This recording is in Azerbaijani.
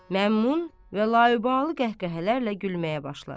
Məmnun və laibalı qəhqəhələrlə gülməyə başlar.